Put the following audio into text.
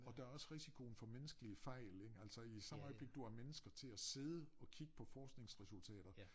Og der også risikoen for menneskelige fejl ikke altså i samme øjeblik du har mennesker til at sidde og kigge på forskningsresultater